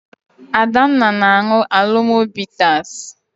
Adanna na-aṅụ Alomo bitas.